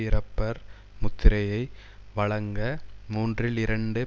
இறப்பர் முத்திரையை வழங்க மூன்றில் இரண்டு